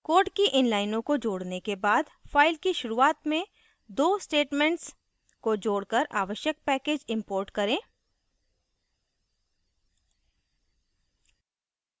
code की इन लाइनों को जोडने के बाद फ़ाइल की शुरुआत में दो statements को जोड़कर आवश्यक packages import करें